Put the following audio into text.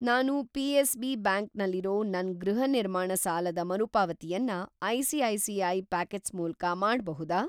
ನಾನು CSB. Bank ನಲ್ಲಿರೋ ನನ್‌ ಗೃಹ ನಿರ್ಮಾಣ ಸಾಲದ ಮರುಪಾವತಿಯನ್ನ ಐ.ಸಿ.ಐ.ಸಿ.ಐ. ಪಾಕೆಟ್ಸ್ ಮೂಲಕ ಮಾಡ್ಬಹುದಾ?